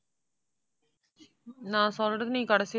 நான் சொல்றேன் நீ கடைசி